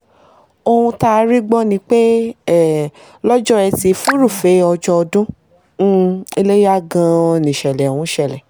ohun tá a rí gbọ́ ni pé um lọ́jọ́ etí furuufee ọjọ́ ọdún um ilẹ́yà gan-an níṣẹ̀lẹ̀ ọ̀hún ṣẹlẹ̀